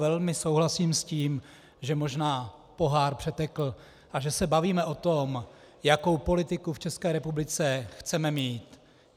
Velmi souhlasím s tím, že možná pohár přetekl a že se bavíme o tom, jakou politiku v České republice chceme mít.